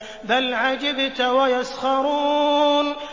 بَلْ عَجِبْتَ وَيَسْخَرُونَ